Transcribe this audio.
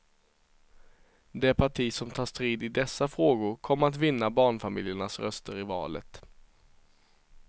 Det parti som tar strid i dessa frågor, kommer att vinna barnfamiljernas röster i valet.